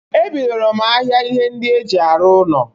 Ebidoro m ahịa ihe ndị e ji arụ ụnọ.